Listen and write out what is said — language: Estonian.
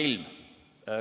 ... ilm.